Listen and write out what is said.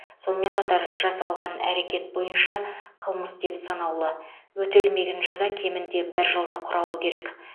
сонымен қатар жасалған әрекет бойынша қылмыс деп саналуы өтелмеген жаза кемінде бір жылды құрауы керек